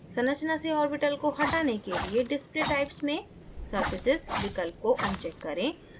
संरचना से ऑर्बिटल्स को हटाने के लिए display types में surfaces विकल्प को अनचेक करें